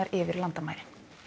yfir landamærin